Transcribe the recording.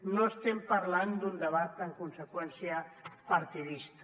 no estem parlant d’un debat en conseqüència partidista